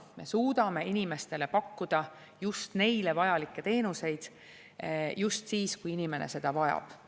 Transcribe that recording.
Me suudame inimestele pakkuda just neile vajalikke teenuseid just siis, kui inimene neid vajab.